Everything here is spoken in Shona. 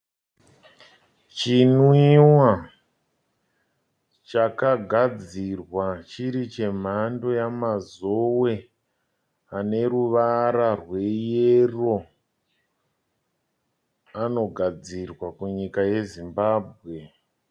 Chinwiwa chakagadzirwa chiri chemhando ye mazowe ane ruvara rweyero. Anogadzirwa kunyika yeZimbabwe.